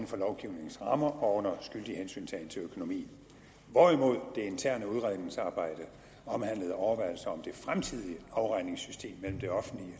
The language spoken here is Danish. for lovgivningens rammer og under skyldig hensyntagen til økonomien hvorimod det interne udredningsarbejde omhandlede overvejelser om det fremtidige afregningssystem mellem det offentlige